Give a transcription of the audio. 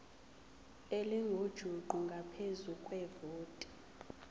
elingujuqu ngaphezu kwevoti